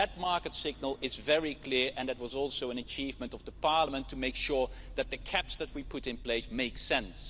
That market signal is very clear and it was also an achievement of Parliament to make sure that the caps we put in place make sense.